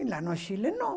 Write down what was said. E lá no Chile, não.